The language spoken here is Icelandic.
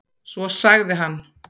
Svo sagði hann